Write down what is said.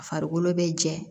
A farikolo bɛ jɛ